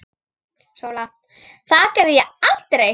SÓLA: Það geri ég aldrei!